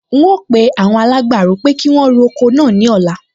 N óò pe awon alágbàro pé kí wọn ro oko náà ní ọ̀la